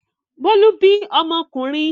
Bólú bí ọmọkùnrin.